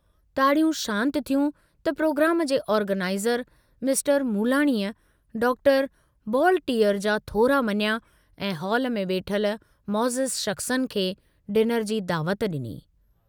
ताड़ियूं शान्त थियूं त प्रोग्राम जे आर्गनाईज़र मिस्टर मूलाणीअ डॉक्टर बॉलटीअर जा थोरा मञिया ऐं हाल में वेठल मौजिज़ शख़्सन खे डिनर जी दावत डिनी।